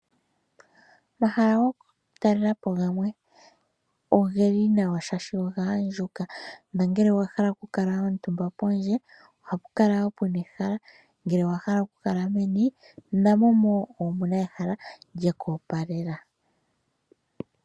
Omahala go kutalelapo gamwe ogeli mawa shaa shono ogaandjuka na gele owahala okukala omuntumba pondje oha pukala wo ehala ngele owahala okukala meni na mo omuna wo ehala lyekwoopalela.